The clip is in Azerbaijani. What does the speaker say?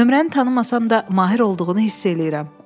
Nömrəni tanımasam da, Mahir olduğunu hiss eləyirəm.